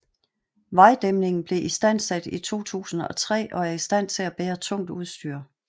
Vejdæmningen blev istansat i 2003 og er i stand til at bære tungt udstyr